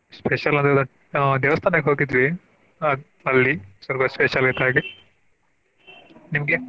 Special ಅಂದ್ರೆ ಇವತ್ತು ಆ ದೇವಸ್ಥಾನಕ್ಕ ಹೋಗಿದ್ವಿ ಅಲ್ಲಿ ನಿಮ್ಗೆ?